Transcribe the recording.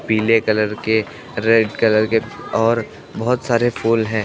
पीले कलर के red colour के और बहुत सारे फूल है।